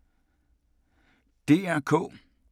DR K